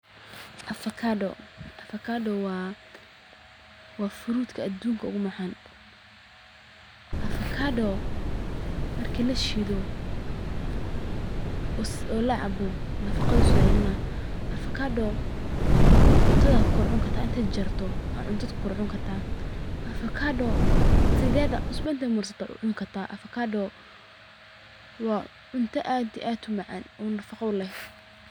Avacado waa fruutka adunka ugu macaan, marki la shiido oo la cabo nafaqo ayuu soo celinaa, cuntada ayaa ku kor cuni kartaa, sideeda inaad cusbo marsato ayaad cuni kartaa, waa cunto sait umacaan oo nafaqo leh.